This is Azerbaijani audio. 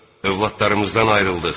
Övladlarımızdan ayrıldıq.